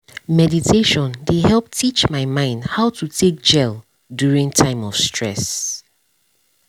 meditation dey help teach my mind how to take gel during time of stress